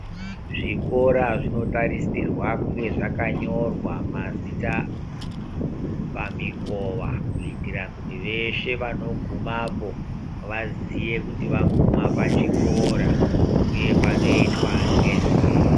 Zvikora zvinotarisirwa kunga zvakanyorwa mazita pamikova. Kuitira kuti veshe vanogumapo vaziye kuti vaguma pachikora, uye panoitwa ngezvei.